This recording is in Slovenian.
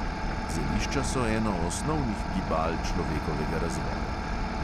Zelišča so eno osnovnih gibal človekovega razvoja.